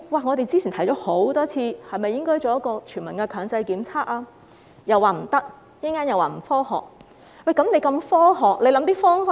我們之前多次提出應否進行全民強制檢測，政府說不可以，並指這做法不科學。